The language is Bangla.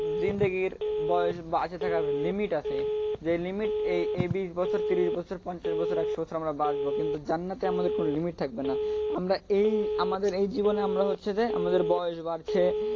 জিন্দেগির বয়স বেঁচে থাকার limit আছে যে limit এই বিশ বছর ত্রিশ বছর পঞ্চাশ বছর একশ বছর আমরা বাঁচবো কিন্তু জান্নাতে আমাদের কোনও limit থাকবে না আমরা এই আমাদের এই জীবনে আমরা হচ্ছে যে আমাদের বয়েস বাড়ছে,